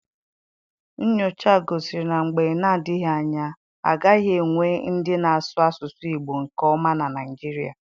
Nnyocha gosiri na mgbe na-adịghị anya, a gaghị enwe ndị na-asụ asụsụ Igbo nke ọma na Naịjirịa.